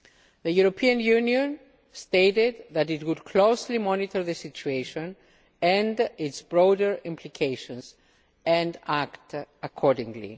The European Union stated that it would closely monitor the situation and its broader implications, and act accordingly.